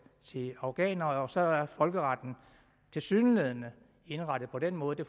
til afghanere og så er folkeretten tilsyneladende indrettet på den måde det